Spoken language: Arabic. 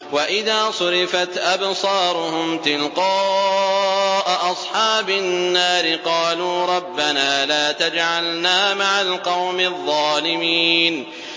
۞ وَإِذَا صُرِفَتْ أَبْصَارُهُمْ تِلْقَاءَ أَصْحَابِ النَّارِ قَالُوا رَبَّنَا لَا تَجْعَلْنَا مَعَ الْقَوْمِ الظَّالِمِينَ